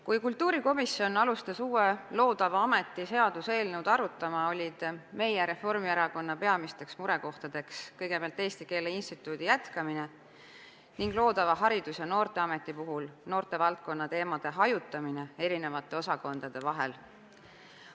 Kui kultuurikomisjon hakkas uusi loodavaid ameteid puudutavat seaduseelnõu arutama, olid Reformierakonna peamisteks murekohtadeks kõigepealt Eesti Keele Instituudi jätkamine ning loodava Haridus- ja Noorteameti puhul noortevaldkonna teemade hajutamine eri osakondade vahel.